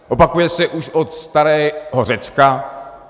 Opakuje se už od starého Řecka.